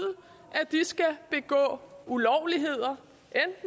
at de skal begå ulovligheder